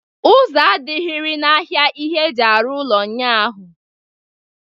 Ụzọ adịrịghị n'ahịa ihe eji arụ ụlọ ụnyaahụ.